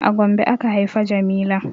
A Gombe aka haifa jamila